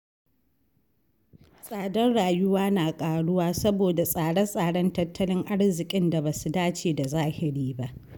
Tsadar rayuwa na ƙaruwa saboda tsare-tsaren tattalin arziƙin da ba su dace da zahiri ba.